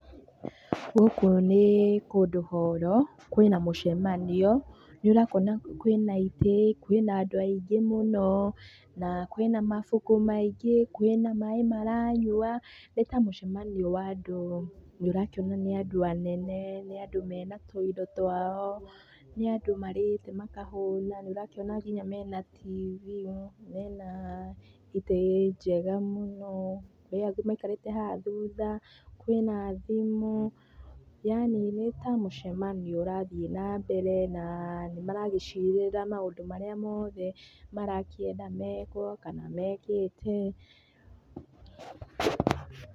Gũkũ nĩ kũndũ horo, kwĩna mũcemanio. Nĩũrakĩona kwĩna ĩtĩ, kwĩna andũ aingĩ mũno, na kwĩna mabuku maingĩ, kwĩna maĩ maranyua, nĩ ta mũcemanio wa andũ, nĩũrakĩona nĩ andũ anene, nĩ andũ mena tũindo twao nĩ andũ marĩte makahũna na nĩũrakĩona kinya mena TV, mena itĩ njega mũno, kwĩ angĩ maikarĩte haha thutha, kwĩna thimũ, yaani nĩ ta mũcemanio ũrathiĩ nambere, na nĩmaragĩcĩrĩra maũndũ marĩa mothe marakĩenda mekwo kana mekĩte.